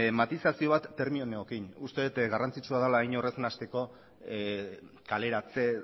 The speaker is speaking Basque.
matizazio bat terminoekin uste dut garrantzitsua dela inor ez nahasteko kaleratze